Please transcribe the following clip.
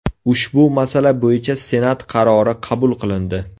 Ushbu masala bo‘yicha Senat qarori qabul qilindi.